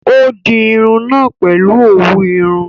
Ó dirun irun náà pèlu òwú irun